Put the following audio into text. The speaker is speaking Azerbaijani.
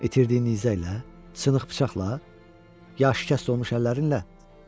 İtirdiyin izləklə, sınıq bıçaqla, ya şikəst olmuş əllərinlə?